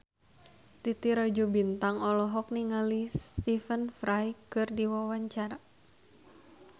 Titi Rajo Bintang olohok ningali Stephen Fry keur diwawancara